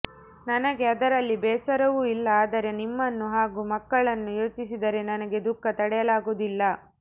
ನನಗೆ ಅದರಲ್ಲಿ ಬೇಸರವೂ ಇಲ್ಲ ಆದರೆ ನಿಮ್ಮನ್ನು ಹಾಗೂ ಮಕ್ಕಳನ್ನು ಯೋಚಿಸಿದರೆ ನನಗೆ ದುಃಖ ತಡೆಯಲಾಗುವುದಿಲ್ಲ